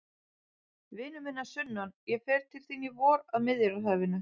Vinur minn að sunnan, ég fer til þín í vor, að Miðjarðarhafinu.